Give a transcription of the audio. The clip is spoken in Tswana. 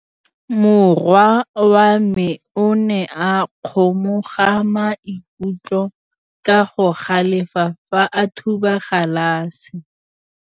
Morwa wa me o ne a kgomoga maikutlo ka go galefa fa a thuba galase.